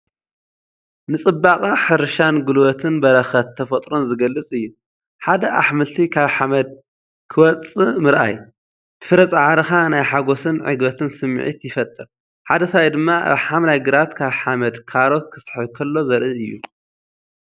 ንጽባቐ ሕርሻን ጉልበትን በረኸት ተፈጥሮን ዝገልጽ እዩ። ሓደ ኣሕምልቲ ካብ ሓመድ ክወጽእ ምርኣይ፡ ብፍረ ጻዕሪኻ ናይ ሓጎስን ዕግበትን ስምዒት ይፈጥር። ሓደ ሰብኣይ ድማ ኣብ ሓምላይ ግራት ካብ ሓመድ ካሮት ክስሕብ ከሎ ዘርኢ እዩ።